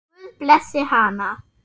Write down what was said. Guð blessi hana.